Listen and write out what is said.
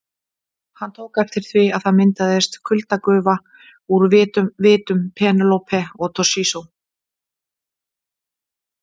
Hann tók eftir því að það myndaðist kuldagufa úr vitum Penélope og Toshizo.